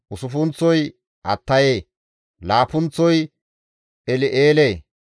usuppunththozi Attaye, laappunththozi El7eele,